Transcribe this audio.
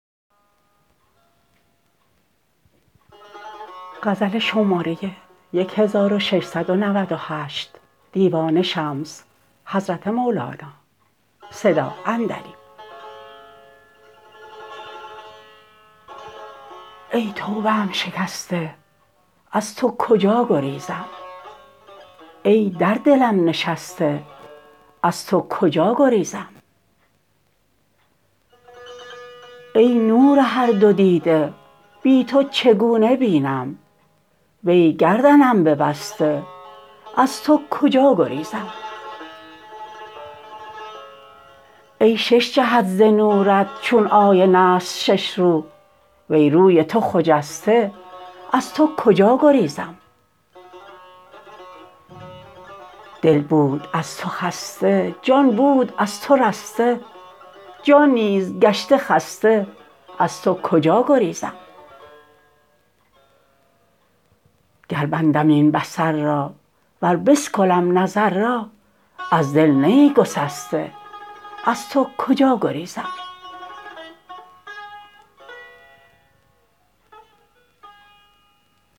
ای توبه ام شکسته از تو کجا گریزم ای در دلم نشسته از تو کجا گریزم ای نور هر دو دیده بی تو چگونه بینم وی گردنم ببسته از تو کجا گریزم ای شش جهت ز نورت چون آینه ست شش رو وی روی تو خجسته از تو کجا گریزم دل بود از تو خسته جان بود از تو رسته جان نیز گشت خسته از تو کجا گریزم گر بندم این بصر را ور بسکلم نظر را از دل نه ای گسسته از تو کجا گریزم